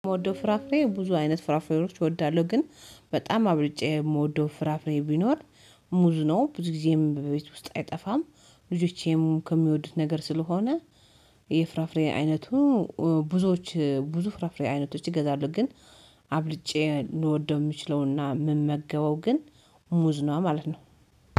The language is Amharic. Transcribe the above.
የምወደው ፍራፍሬ ብዙ አይነት ፍራፍሬዎች እወዳለሁ ግን በጣም አብልጬ የምወደው ፍራፍሬ ቢኖር፦ ሙዝ ነው ብዙ ጊዜም በቤት ውስጥ አይጠፋም ልጆቼም ከሚወዱት ነገር ስለሆነ የፍራፍሬ አይነቱ ብዙዎች ብዙ ፍራፍሬ አይነቶች ይገዛሉ ግን! አብልጬ ልወደው የምችለውና የምመገበው ግን ሙዝ ነው ማለት ነው።